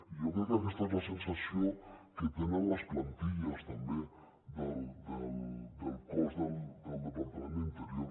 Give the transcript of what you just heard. i jo crec que aquesta és la sensació que tenen les plantilles també del cos del departament d’interior